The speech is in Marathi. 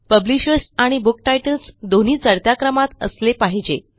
पब्लिशर्स आणि बुक टाइटल्स दोन्ही चढत्या क्रमात असले पाहिजेत